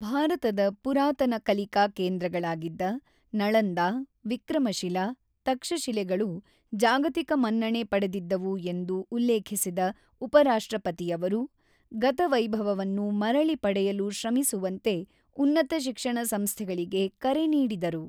ಭಾರತದ ಪುರಾತನ ಕಲಿಕಾ ಕೇಂದ್ರಗಳಾಗಿದ್ದ ನಳಂದಾ, ವಿಕ್ರಮಶಿಲಾ, ತಕ್ಷಶಿಲೆಗಳು ಜಾಗತಿಕ ಮನ್ನಣೆ ಪಡೆದಿದ್ದವು ಎಂದು ಉಲ್ಲೇಖಿಸಿದ ಉಪ ರಾಷ್ಟ್ರಪತಿಯವರು, ಗತ ವೈಭವವನ್ನು ಮರಳಿ ಪಡೆಯಲು ಶ್ರಮಿಸುವಂತೆ ಉನ್ನತ ಶಿಕ್ಷಣ ಸಂಸ್ಥೆಗಳಿಗೆ ಕರೆ ನೀಡಿದರು.